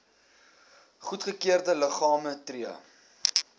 goedgekeurde liggame tree